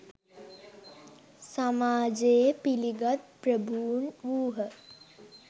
සමාජයේ පිලිගත් ප්‍රභූන් වූහ